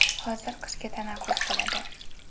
Hozir qishki tanaffus bo‘ladi.